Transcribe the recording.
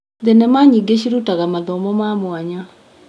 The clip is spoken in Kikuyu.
Thenema nyingĩ cirutaga mathomo ma mwanya.